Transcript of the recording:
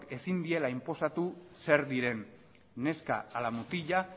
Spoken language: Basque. ezin diela inposatu zer diren neska ala mutila